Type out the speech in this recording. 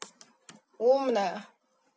умная